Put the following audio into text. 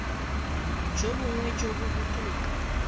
jo bongwe jo bo botoka